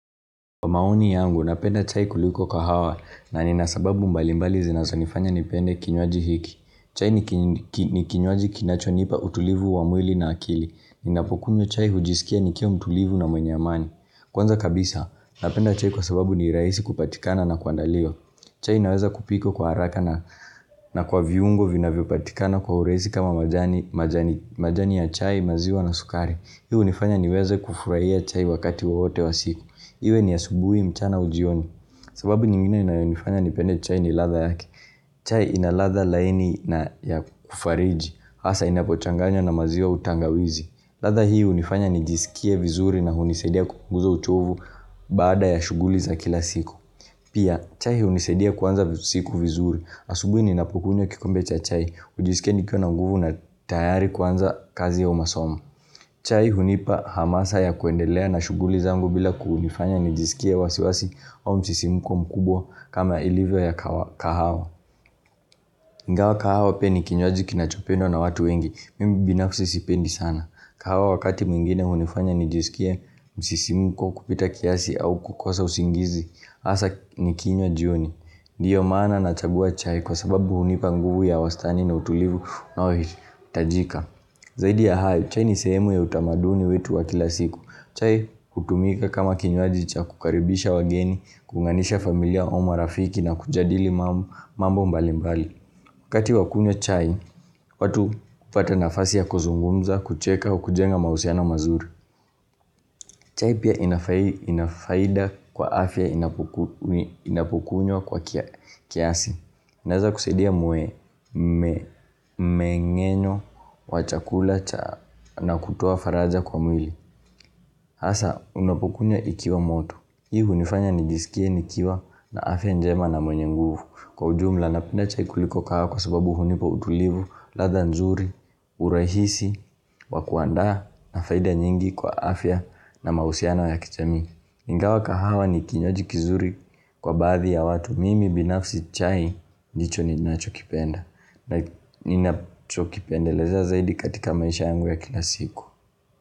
Kwa maoni yangu, napenda chai kuliko kahawa na ni nasababu mbalimbali zinazonifanya nipende kinywaji hiki. Chai ni kinywaji kinachonipa utulivu wa mwili na akili. Ninapokunywa chai hujisikia nikiwa mtulivu na mwenye amani. Kwanza kabisa, napenda chai kwa sababu ni rahisi kupatikana na kuandaliwa. Chai inaweza kupikwa kwa haraka na na kwa viungo vinavyopatikana kwa urahisi kama majani majani majani ya chai maziwa na sukari. Hii hunifanya niweza kufurahia chai wakati wowote wa siku. Iwe ni asubuhi, mchana au ujioni. Sababu nyingine inayonifanya nipende chai ni ladha yake. Chai inaladha laini na ya kufariji, hasa inapo changanya na maziwa au tangawizi. Ladha hii hunifanya nijisikie vizuri na hunisedia kunguza uchovu. Baada ya shuguli za kila siku. Pia, chai hunisaidia kuanza siku vizuri. Asubuhi ninapokunywa kikombe cha chai, hujisikia nikiwa na nguvu na tayari kwanza kazi au masomo. Chai hunipa hamasa ya kuendelea na shughuli zangu bila kunifanya nijisikiz wasiwasi au msisimuko mkubwa kama ilivyo ya kahawa. Ingawa kahawa pia ni kinywaji kinachopendwa na watu wengi, mimi binafsi sipendi sana. Kahawa wakati mwingine hunifanya nijisikia msisimuko kupita kiasi au kukosa usingizi, hasa nikinywa jioni. Ndiyo maana na chagua chai kwa sababu hunipa nguvu ya wastani na utulivu unao hitajika. Zaidi ya hayo, chai ni sehemu ya utamaduni wetu wa kila siku. Chai hutumika kama kinywaji cha kukaribisha wageni, kuunganisha familia au marafiki na kujadili mambo mambo mbalimbali. Wakati wakunywa chai, watu hupata nafasi ya kuzungumza, kucheka, au kujenga mahusiano mazuri. Chai pia inafaida kwa afya inapokunywa kwa kiasi. Inaweza kusaidia mmengenyo wa chakula na kutua faraja kwa mwili. Hasa, unapokunywa ikiwa moto. Hii hunifanya nijisikie, nikiwa, na afya njema na mwenye nguvu. Kwa ujumla napenda chai kuliko kahawa kwa sababu hunipa utulivu, ladha nzuri, urahisi, wakuandaa na faida nyingi kwa afya na mahusiano ya kijamii. Ningawa kahawa ni kinywaji kizuri kwa baathi ya watu, mimi binafsi chai ndicho ninacho kipenda. Na nina chokipendalezea zaidi katika maisha yangu ya kila siku.